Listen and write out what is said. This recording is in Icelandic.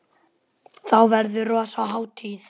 Þá verður rosa hátíð!